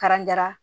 Karanja